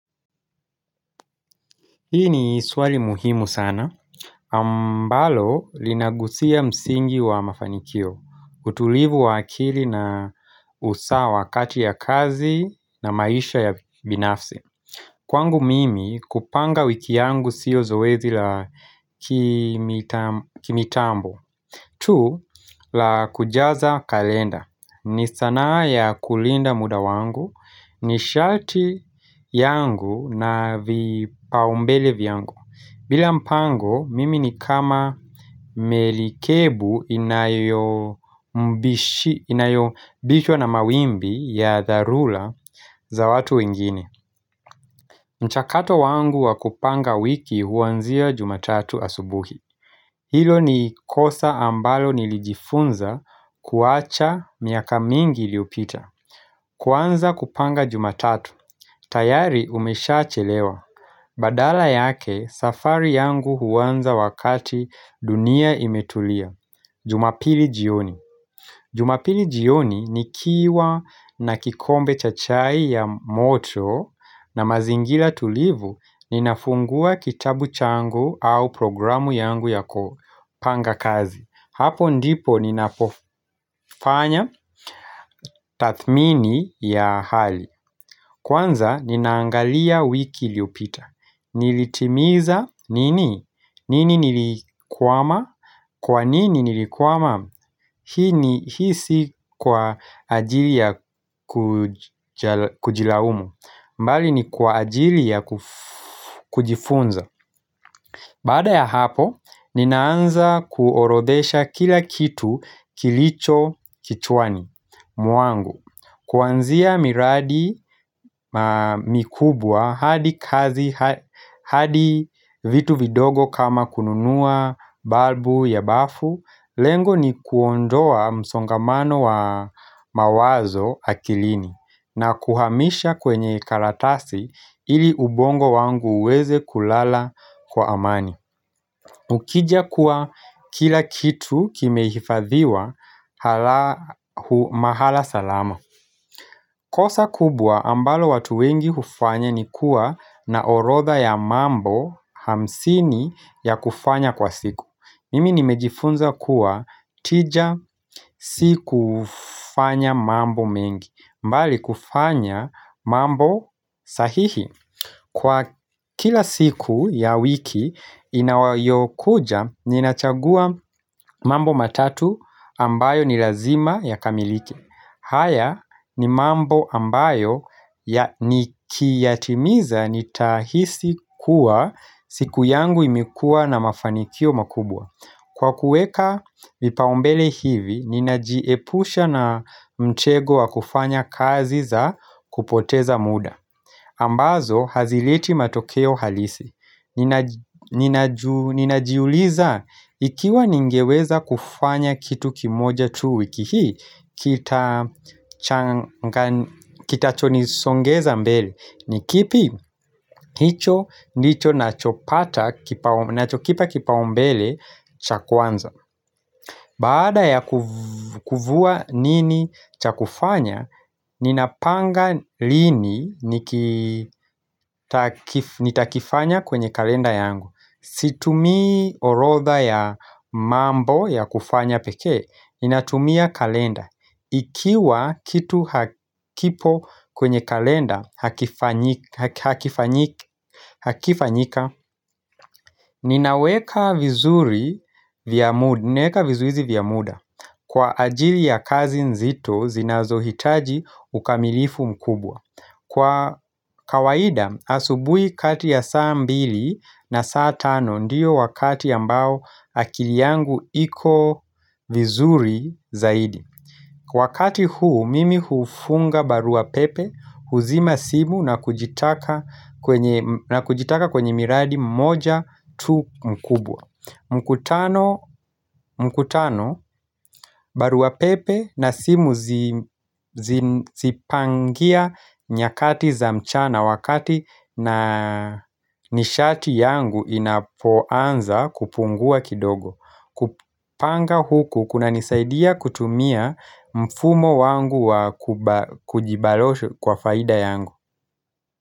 Hii ni swali muhimu sana. Ambalo linagusia msingi wa mafanikio, utulivu wa akili na usawa wakati ya kazi na maisha ya binafsi. Kwangu mimi kupanga wiki yangu siyo zoezi la kimitambo tu la kujaza kalenda ni sanaa ya kulinda muda wangu nishati yangu na vipaumbele vyangu bila mpango mimi ni kama melikebu inayobishwa na mawimbi ya dharula za watu wengine mchakato wangu wa kupanga wiki huanzia jumatatu asubuhi. Hilo ni kosa ambalo nilijifunza kuacha miaka mingi iliyopita. Kuanza kupanga jumatatu. Tayari umeshachelewa. Badala yake safari yangu huanza wakati dunia imetulia. Jumapili jioni. Jumapili jioni nikiwa na kikombe cha chai ya moto na mazingira tulivu ninafungua kitabu changu au programu yangu ya kupanga kazi. Hapo ndipo ninapofanya tathmini ya hali. Kwanza ninaangalia wiki iliyopita. Nilitimiza nini? Nini nilikwama? Kwa nini nilikwama? Hii ni, hii si kwa ajili ya kujilaumu mbali ni kwa ajili ya kujifunza Baada ya hapo, ninaanza kuorodhesha kila kitu kilicho kichwani mwangu Kuanzia miradi mikubwa, hadi kazi, hadi vitu vidogo kama kununua, balbu, ya bafu Lengo ni kuondoa msongamano wa mawazo akilini na kuhamisha kwenye kalatasi ili ubongo wangu uweze kulala kwa amani Ukija kuwa kila kitu kimehifadhiwa halahu mahala salama kosa kubwa ambalo watu wengi hufanya ni kuwa na orodha ya mambo hamsini ya kufanya kwa siku Mimi nimejifunza kuwa tija si kufanya mambo mengi mbali kufanya mambo sahihi Kwa kila siku ya wiki inawayokuja ninachagua mambo matatu ambayo ni lazima yakamilike haya ni mambo ambayo ya nikiyatimiza nitahisi kuwa siku yangu imekuwa na mafanikio makubwa Kwa kuweka vipaumbele hivi, ninajiepusha na mtego wa kufanya kazi za kupoteza muda ambazo, hazileti matokeo halisi Ninajiuliza, ikiwa ningeweza kufanya kitu kimoja tu wiki hii Kitachonisongeza mbele ni kipi, hicho ndicho nachopata, nachokipa kipaumbele cha kwanza Baada ya kuvua nini cha kufanya, ninapanga lini nitakifanya kwenye kalenda yangu Situmii orodha ya mambo ya kufanya pekee, ninatumia kalenda Ikiwa kitu hakipo kwenye kalenda hakifanyika Ninaweka vizuri vya muda Kwa ajili ya kazi nzito zinazohitaji ukamilifu mkubwa Kwa kawaida asubui kati ya saa mbili na saa tano Ndiyo wakati ambao akili yangu iko vizuri zaidi Wakati huu mimi hufunga barua pepe huzima simu na kujitaka kwenye miradi mmoja tu mkubwa mkutano barua pepe na simu zipangia nyakati za mchana wakati na nishati yangu inapoanza kupungua kidogo kupanga huku kunanisaidia kutumia mfumo wangu wa kujibaloshu kwa faida yangu.